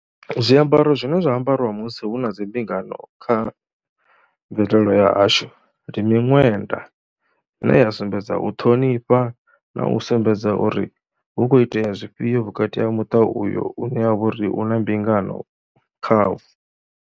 Zwiambaro zwine zwa ambariwa musi hu na dzi mbingano kha mvelelo yashu ndi miṅwenda ine ya sumbedza u ṱhonifha na u sumbedza uri hu khou itea zwifhio vhukati ha muṱa uyo une ha vha uri hu na mbingano khawo.